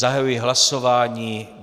Zahajuji hlasování.